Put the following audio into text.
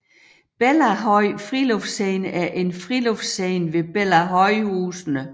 Bellahøj Friluftsscene er en friluftsscene ved Bellahøjhusene